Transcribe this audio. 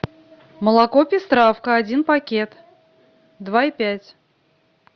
молоко пестравка один пакет два и пять